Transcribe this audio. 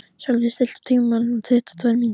Sölvi, stilltu tímamælinn á tuttugu og tvær mínútur.